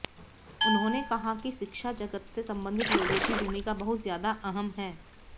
उन्होंने कहा कि शिक्षा जगत से संबंधित लोगों की भूमिका बहुत ज्यादा अहम है